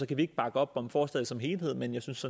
kan vi ikke bakke op om forslaget som helhed men jeg synes